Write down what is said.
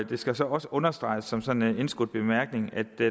det skal så også understreges som sådan en indskudt bemærkning at